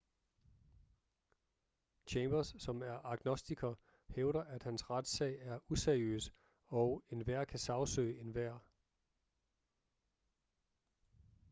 chambers som er agnostiker hævder at hans retssag er useriøs og enhver kan sagsøge enhver